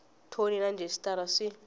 thoni na rhejisitara sw i